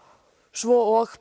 svo og